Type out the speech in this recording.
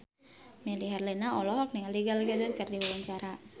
Melly Herlina olohok ningali Gal Gadot keur diwawancara